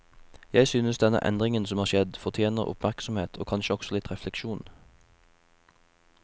Jeg synes denne endringen som har skjedd, fortjener oppmerksomhet og kanskje også litt refleksjon.